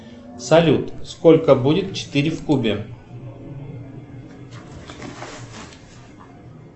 салют сколько будет четыре в кубе